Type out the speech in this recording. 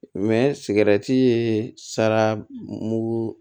sigɛrɛti ye sara mugu